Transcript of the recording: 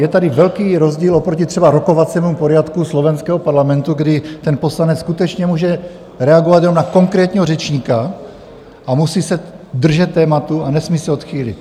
Je tady velký rozdíl oproti třeba rokovacímu poriadku slovenského parlamentu, kdy ten poslanec skutečně může reagovat jenom na konkrétního řečníka a musí se držet tématu a nesmí se odchýlit.